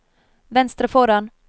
venstre foran